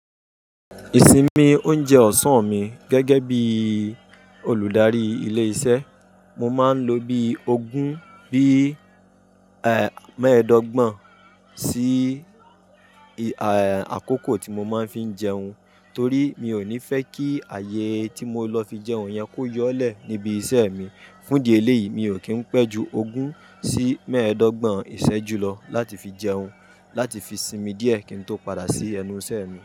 Ìsinmi oúnjẹ ọ̀sán-an mi gẹ́gẹ́ bí olùdarí ilé iṣẹ́. Mo máa ń lo bí ogún bí, eh, mẹ́ẹ́dọ́gbọ̀n sí, eh, àkókò tí mo máa ń fi n jẹun. Torí mi ò ní fẹ́ kí ààyè tí mo lọ fi jẹun yẹn kó yọolẹ̀ níbi iṣẹ́ mi. Fúndi ẹléyìí, mi ò kí ń pẹ́ ju ogún sí mẹ́ẹ̀ẹ́dọ́gbọ̀n ìṣẹ́jú lọ láti fi jẹun, láti fi sinmi díẹ̀ kí n tó padà sí ẹnu iṣẹ́ mi.